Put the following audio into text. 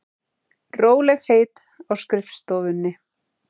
Rólegheit á skrifstofunni.